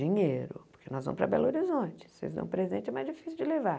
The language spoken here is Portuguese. Dinheiro, porque nós vamos para Belo Horizonte, se vocês dão presente é mais difícil de levar.